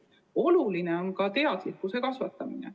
Oluline on ka teadlikkuse kasvatamine.